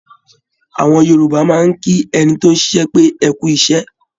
Àwọn Yorùbá máa ń kí ẹni tóún ṣiṣẹ́ pé "ẹkú iṣẹ́"